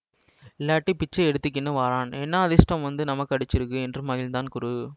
இல்லாட்டி பிச்சை எடுத்துக்கினு வரான் என்னா அதிர்ஷ்டம் வந்து நமக்கு அடிச்சிருக்கு என்று மகிழ்ந்திருந்தான் குரு